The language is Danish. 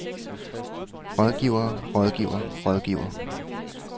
rådgiver rådgiver rådgiver